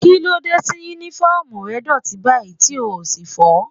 Kílódé tí Únífọ́ọ̀mù rẹ dọ̀tí báyìí tí o ò sì fọ̀ ọ́?